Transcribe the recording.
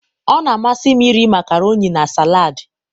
ọ na-amasị m iri makaroni na salad.